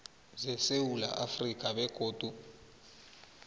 zesewula afrika begodu